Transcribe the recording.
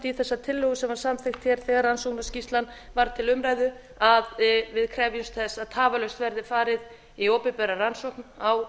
í þessa tillögu sem var samþykkt hér þegar rannsóknarskýrslan var til umræðu að við krefjumst þess að tafarlaust verði farið í opinbera rannsókn á